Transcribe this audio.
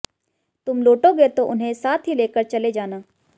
तुम लौटोगे तो उन्हें साथ ही लेकर चले जाना